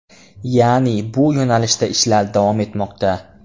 Ya’ni bu yo‘nalishda ishlar davom etmoqda.